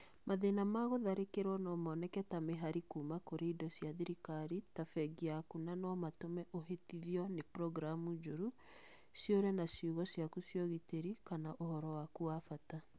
Mathĩna ma gũtharĩkĩrũo no moneke ta mĩhari kuuma kũrĩ indo cia thirikari ta bengi yaku na no matũme ũhĩtithio nĩ programu njũru, ciũre na ciugo ciaku cia ũgitĩri kana ũhoro waku wa bata.